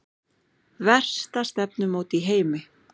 Versta stefnumót í heimi